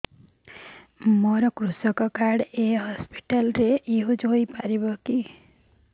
ମୋର କୃଷକ କାର୍ଡ ଏ ହସପିଟାଲ ରେ ୟୁଜ଼ ହୋଇପାରିବ